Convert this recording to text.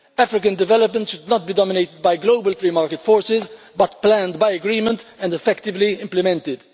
African development should not be dominated by global free market forces but planned by agreement and effectively implemented.